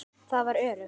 Það var öruggt.